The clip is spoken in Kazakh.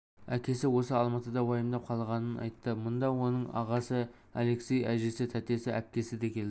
әкесі осы алматыда уайымдап қалғанын айтты мұнда оның ағасы алексей әжесі тәтесі әпкесі де келді